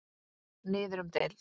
Niður um deild